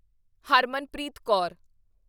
Harmanpreet Kaur